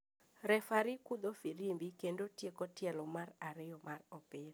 Refari kudho firimbi kendo tieko tielo mar ariyo mar opira.